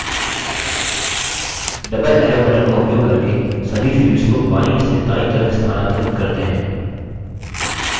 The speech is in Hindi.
double arrow button का उपयोग करके सभी fields को बायीं से दायीं तरफ स्थानांतरित करते हैं